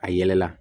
A yɛlɛla